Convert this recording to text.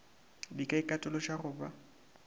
di ka ikatološa go ba